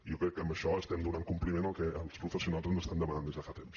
jo crec que amb això estem donant compliment al que els professionals ens estan demanant des de fa temps